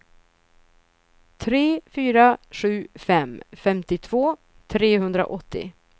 tre fyra sju fem femtiotvå trehundraåttio